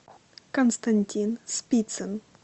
константин спицын